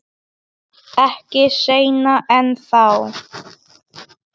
Ekki seinna en þá.